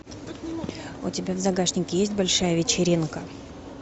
у тебя в загашнике есть большая вечеринка